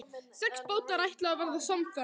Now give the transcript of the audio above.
Sex bátar ætluðu að verða samferða.